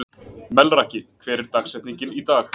Melrakki, hver er dagsetningin í dag?